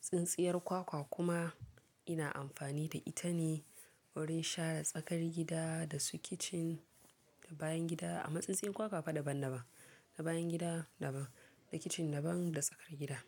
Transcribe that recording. Tsintsiyar kwakwa kuma, ina amfani da ita ne wurin share tsakar gida da su kicin, da bayan gida a matsayin kwakwa fa daban-daban, na bayan gida daban, na kicin daban da tsakar gida.